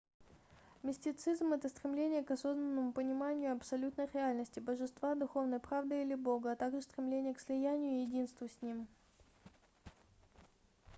мистицизм это стремление к осознанному пониманию абсолютной реальности божества духовной правды или бога а также стремление к слиянию и единству с ним